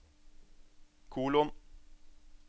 kolon